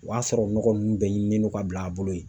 O y'a sɔrɔ nɔgɔ ninnu bɛɛ ɲiminen don ka bila a bolo yen.